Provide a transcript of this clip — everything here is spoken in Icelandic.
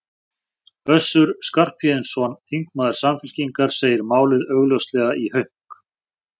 Össur Skarphéðinsson, þingmaður Samfylkingar, segir málið augljóslega í hönk.